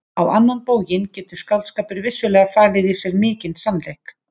Á annan bóginn getur skáldskapur vissulega falið í sér mikinn sannleik.